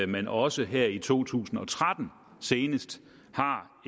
man også her i to tusind og tretten har